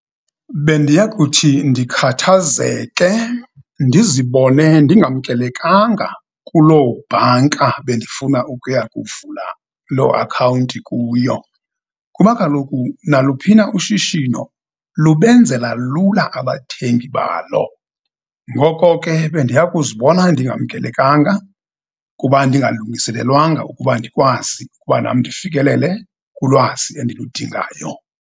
Bendiya kuthi ndikhathazeke, ndizibone ndingamkelekanga kuloo bhanka bendifuna ukuya kuvula loo akhawunti kuyo, kuba kaloku, naluphina ushishino lube benzela lula abathengi balo. Ngoko ke, bendiya kuzibona ndingamkelekanga kuba ndingalungiselelwanga ukuba ndikwazi ukuba nam ndifikelele kulwazi endiludingayo.